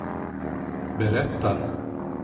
berättar